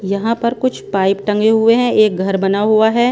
यहाँ पर कुछ पाइप टंगे हुए हैं एक घर बना हुआ हैं।